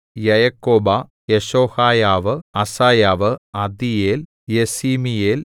Jaakobah Jeshohaiah Asaiah Adiel Jesimiel